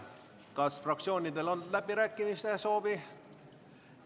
Kas fraktsioonidel on läbirääkimiste soovi?